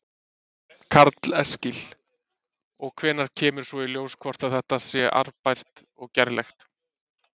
Karl Eskil: Og hvenær kemur svo í ljós hvort að þetta sé arðbært og gerlegt?